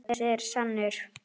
Þessi er sannur.